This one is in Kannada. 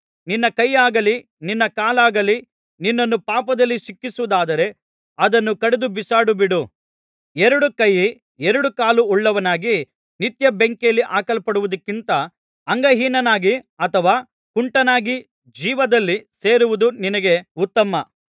ನಿನ್ನ ಕೈಯಾಗಲಿ ನಿನ್ನ ಕಾಲಾಗಲಿ ನಿನ್ನನ್ನು ಪಾಪದಲ್ಲಿ ಸಿಕ್ಕಿಸುವುದಾದರೆ ಅದನ್ನು ಕಡಿದು ಬಿಸಾಡಿಬಿಡು ಎರಡು ಕೈ ಎರಡು ಕಾಲು ಉಳ್ಳವನಾಗಿ ನಿತ್ಯ ಬೆಂಕಿಯಲ್ಲಿ ಹಾಕಲ್ಪಡುವುದಕ್ಕಿಂತ ಅಂಗಹೀನನಾಗಿ ಅಥವಾ ಕುಂಟನಾಗಿ ಜೀವದಲ್ಲಿ ಸೇರುವುದು ನಿನಗೆ ಉತ್ತಮ